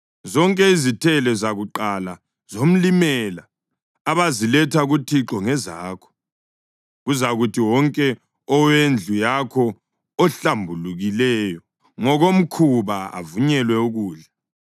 Zonke izithelo zakuqala zomlimela abaziletha kuThixo ngezakho. Kuzakuthi wonke owendlu yakho ohlambulukileyo ngokomkhuba avunyelwe ukudla.